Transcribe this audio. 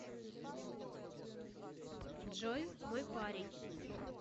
джой мой парень